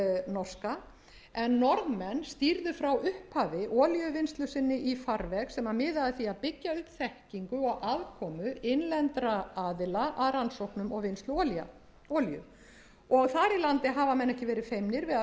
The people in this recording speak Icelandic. norska en norðmenn stýrðu frá upphafi olíuvinnslu sinni í farveg sem miðaði að því að byggja upp þekkingu og aðkomu innlendra aðila að rannsóknum og vinnslu olíu þar í landi hafa menn ekki verið feimnir við að